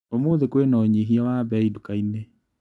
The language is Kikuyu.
ũmũthĩ kwĩna ũnyihia wa mbei ndukainĩ.